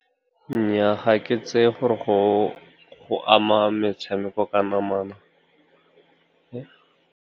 Nnyaa, ga ke tseye gore go ama metshameko ka namana.